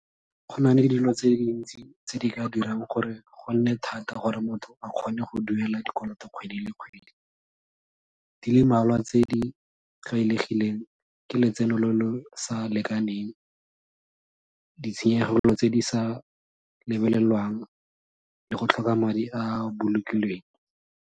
Go na le dilo tse dintsi tse di ka dirang gore go nne thata gore motho a kgone go duela dikoloto kgwedi le kgwedi, di le mmalwa tse di tlwaelegileng ke letseno lo lo sa lekaneng, ditshenyegelo tse di sa lebelelwang le go tlhoka madi a a bolokilweng.